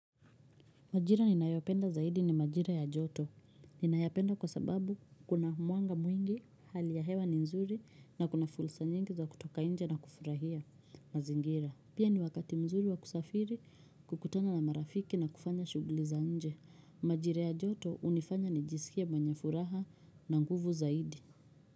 Majira ninayopenda zaidi ni majira ya joto. Ninayapenda kwa sababu kuna mwanga mwingi hali ya hewa ni nzuri na kuna fursa nyingi za kutoka nje na kufurahia mazingira. Pia ni wakati mzuri wa kusafiri kukutana na marafiki na kufanya shuguli za nje. Majira ya joto unifanya nijisikie mwenye furaha na nguvu zaidi.